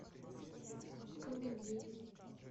комедийный